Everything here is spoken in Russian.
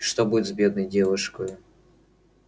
что будет с бедной девушкою